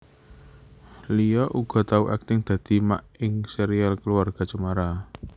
Lia uga tau akting dadi Mak ing Serial Keluarga Cemara